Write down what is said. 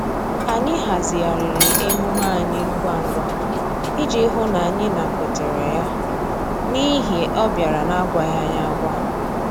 Anyị hazigharịrị emume anyị ngwa ngwa iji hụ n'anyị nakwetere ya n'ihi ọ bịara na-agwaghị anyị agwa